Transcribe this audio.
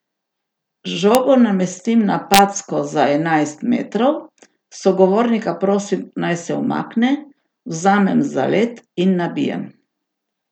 Žogo namestim na packo za enajst metrov, sogovornika prosim, naj se umakne, vzamem zalet in nabijem.